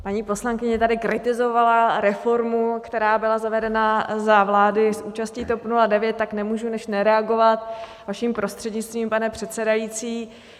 Paní poslankyně tady kritizovala reformu, která byla zavedena za vlády s účastí TOP 09, tak nemůžu než reagovat vaším prostřednictvím, pane předsedající.